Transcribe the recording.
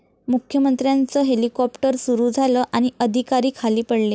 मुख्यमंत्र्यांचं हेलिकाॅप्टर सुरू झालं आणि अधिकारी खाली पडले